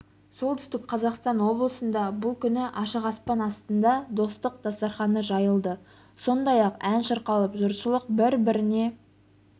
солтүстік қазақстан облысында бұл күні ашық аспан астында достық дастарханы жайылды сондай-ақ ән шырқалып жұртшылық бір-біріне